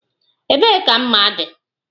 Ebee ka mma dị?